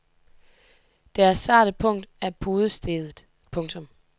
Deres sarte punkt er podestedet. punktum